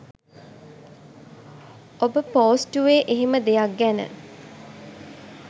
ඔබ පෝස්ටුවේ එහෙම දෙයක් ගැන